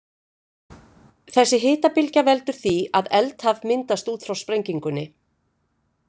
Þessi hitabylgja veldur því að eldhaf myndast út frá sprengingunni.